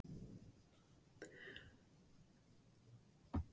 Heimsóknir aðvífandi gesta voru líka tíðar.